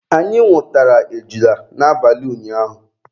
Anyị nwụtara ejula n'abalị ụnyaahụ.